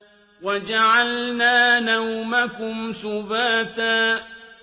وَجَعَلْنَا نَوْمَكُمْ سُبَاتًا